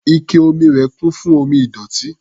Ike omi rẹ̀ kún fún omi ìdọ̀tí.